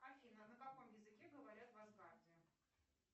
афина на каком языке говорят в асгарде